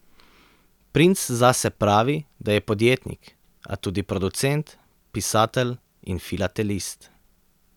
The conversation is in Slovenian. Princ zase pravi, da je podjetnik, a tudi producent, pisatelj in filatelist.